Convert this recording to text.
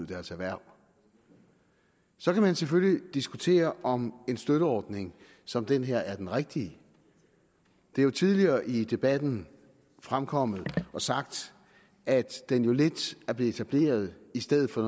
deres erhverv så kan man selvfølgelig diskutere om en støtteordning som den her er den rigtige det er jo tidligere i debatten fremkommet og sagt at den jo lidt er blevet etableret i stedet for